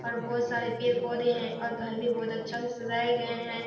और बहुत सारे पेड़-पौधे हैं और घर भी बहुत अच्छा से सजाए गए हैं।